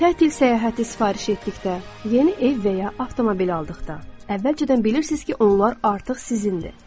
Tətil səyahəti sifariş etdikdə, yeni ev və ya avtomobil aldıqda əvvəlcədən bilirsiz ki, onlar artıq sizindir.